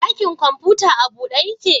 Dakin kwamfuta a bude ya ke?